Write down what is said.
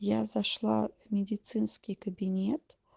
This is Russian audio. я зашла в медицинский кабинет